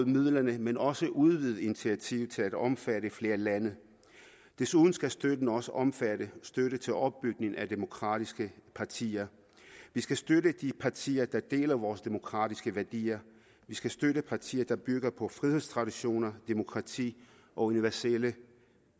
midlerne men også udvide initiativet til at omfatte flere lande desuden skal støtten også omfatte støtte til opbygning af demokratiske partier vi skal støtte de partier der deler vores demokratiske værdier vi skal støtte partier der bygger på frihedstraditioner demokrati og universelle